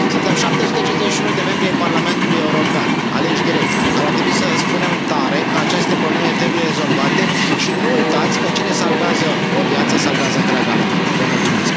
Suntem 751 de membri ai Parlamentului European, aleși direct, care ar trebui să spunem tare că aceste probleme trebuie rezolvate și nu uitați că cine salvează o viață, salvează întreaga lume.